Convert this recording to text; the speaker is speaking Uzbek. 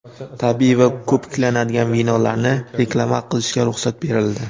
tabiiy va ko‘piklanadigan vinolarni reklama qilishga ruxsat berildi.